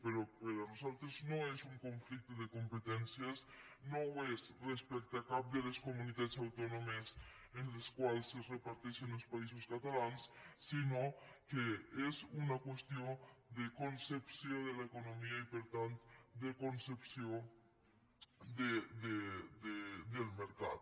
però per nosaltres no és un conflicte de competències no ho és respecte a cap de les comunitats autònomes en les quals es reparteixen els països catalans sinó que és una qüestió de concepció de l’economia i per tant de concepció del mercat